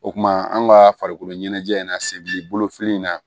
O kumana an ka farikolo ɲɛnajɛ in na se bi bolo fili in na